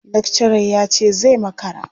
Lakcarar ya ce zai makara.